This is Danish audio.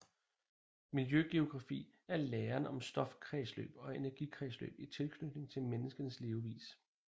Miljøgeografi er læren om stofkredsløb og energikredsløb i tilknytning til menneskenes levevis